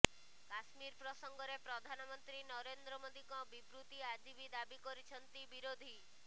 କାଶ୍ମୀର ପ୍ରସଙ୍ଗରେ ପ୍ରଧାନମନ୍ତ୍ରୀ ନରେନ୍ଦ୍ର ମୋଦିଙ୍କ ବିବୃତି ଆଜି ବି ଦାବି କରିଛନ୍ତି ବିରୋଧୀ